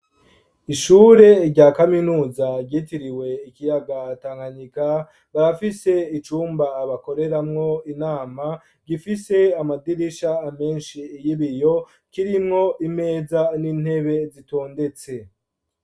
Ishure rya kaminuza, ryitiriwe ikiyaga Tankanyika, barafise icumba, bakoreramwo inama; gifise amadirisha menshi, y'ibiyo; kirimwo imeza, n'intebe zitondetse.